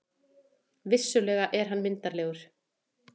Vissulega er hann myndarlegur.